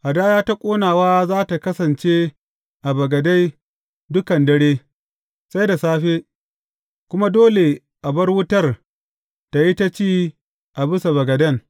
Hadaya ta ƙonawa za tă kasance a bagade dukan dare, sai da safe, kuma dole a bar wutar tă yi ta ci a bisa bagaden.